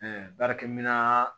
baarakɛminɛn